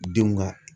Denw ka